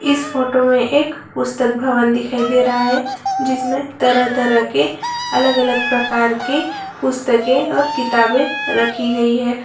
इस फ़ोटो मे एक पुस्तक भवन दिखाई दे रहा है जिसमे तरह तरह के अलग अलग प्रकार के पुस्तके और किताबें रखी गई है।